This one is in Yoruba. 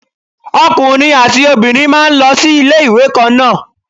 Ọkùnrin àti obìnrin máa ń lọ sí ilé ìwé kan náà.